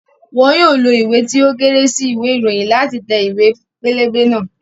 Wọn yóò lo ìwé tí ó kéré sí ìwé ìròyìn láti tẹ ìwé pélébé náà